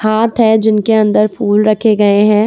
हाथ है जिनके अंदर फूल रखे गए हैं।